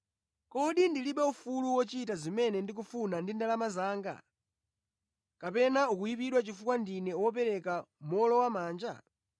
Kodi ndilibe ufulu wochita zimene ndikufuna ndi ndalama zanga? Kapena ukuyipidwa chifukwa ndine wopereka mowolowamanja?’